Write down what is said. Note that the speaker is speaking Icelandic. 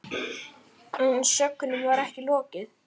En sögnum var ekki lokið.